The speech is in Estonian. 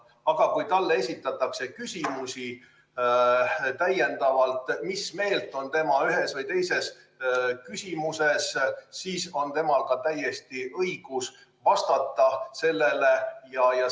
Aga kui talle esitatakse küsimusi selle kohta, mis meelt on tema ühes või teises asjas, siis on tal täielik õigus vastata ka nendele küsimustele.